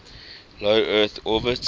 low earth orbit